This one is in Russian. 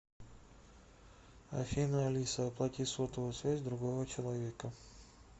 афина алиса оплати сотовую связь другого человека